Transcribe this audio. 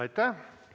Aitäh!